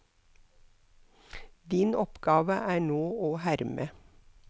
Din oppgave er nå å herme.